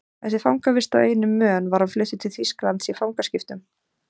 Eftir fangavist á eyjunni Mön var hann fluttur til Þýskalands í fangaskiptum.